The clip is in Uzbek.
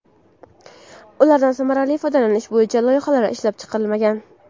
Ulardan samarali foydalanish bo‘yicha loyihalar ishlab chiqilmagan.